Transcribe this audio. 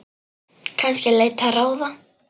Kannski leita ráða.